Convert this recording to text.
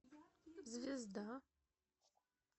звезда